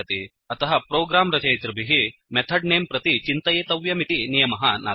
अतः प्रोग्राम् रचयितृभिः method name प्रति चिन्तयितव्यमिति नियमः नास्ति